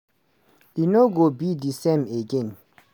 e no go be di same again.